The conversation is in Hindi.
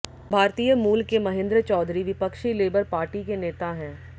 भारतीय मूल के महेंद्र चौधरी विपक्षी लेबर पार्टी के नेता हैं